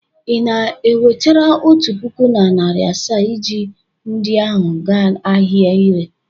Ị na-ewechara otu puku na narị asaa ji ndi ahụ aga ahịa ire?